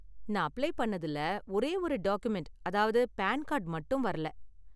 நான் அப்ளை பண்ணதுல ஒரேயொரு டாக்குமெண்ட், அதாவது பான் கார்டு மட்டும் வரல.